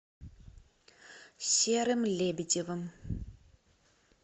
серым лебедевым